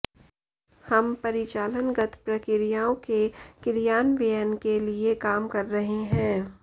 हम परिचालनगत प्रक्रियाओं के क्रियान्वयन के लिए काम कर रहे हैं